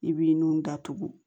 I b'i nun da tugu